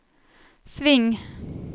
sving